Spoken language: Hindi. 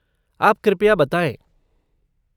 आप कृपया बताएं।